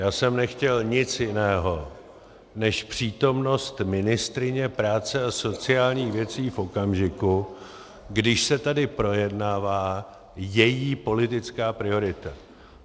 Já jsem nechtěl nic jiného než přítomnost ministryně práce a sociálních věcí v okamžiku, když se tady projednává její politická priorita.